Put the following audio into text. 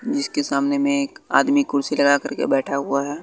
जिसके सामने में एक आदमी कुर्सी लगा करके बैठा हुआ है।